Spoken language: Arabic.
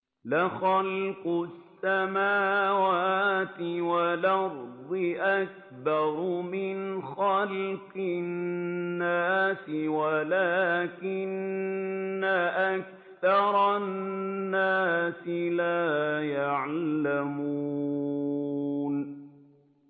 لَخَلْقُ السَّمَاوَاتِ وَالْأَرْضِ أَكْبَرُ مِنْ خَلْقِ النَّاسِ وَلَٰكِنَّ أَكْثَرَ النَّاسِ لَا يَعْلَمُونَ